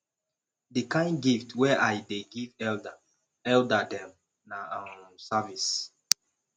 di kain gift wey i dey give elda elda dem na um service